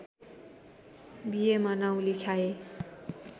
बीएमा नाउँ लेखाए